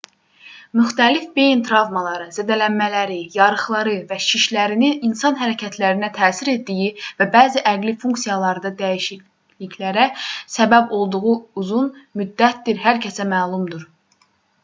müxtəlif beyin travmaları zədələnmələri yarıqları və şişlərinin insan hərəkətlərinə təsir etdiyi və bəzi əqli funksiyalarda dəyişikliklərə səbəb olduğu uzun müddətdir hər kəsə məlumdur